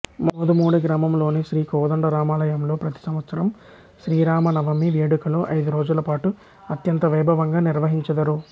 మోదుమూడి గ్రామంలోని శ్రీ కోదండరామాలయంలో ప్రతి సంవత్సరం శ్రీరామనవమి వేడుకలు ఐదు రోజులపాటు అత్యంత వైభవంగా నిర్వహించెదరు